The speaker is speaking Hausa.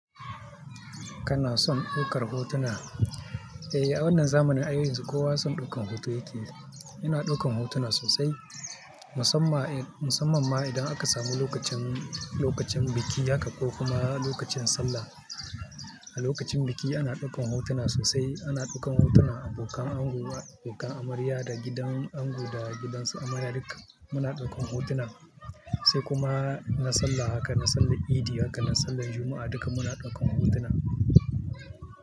Kana son ɗaukar hotuna? Eh, a wannan zamanin ai yanzu kowa son ɗaukan hoto yake. Ina ɗaukan hotuna sosai musamman ma idan aka samu lokacin, lokacin biki haka ko kuma lokacin sallah. A lokacin biki ana ɗaukan hotuna sosai. Ana ɗaukan hotunan abokan ango, abokan amarya da gidan ango da gidansu amarya duk muna ɗaukan hotuna sai kuma na sallah haka, na sallar idi haka, na sallar Juma'a duka muna ɗaukan hotuna.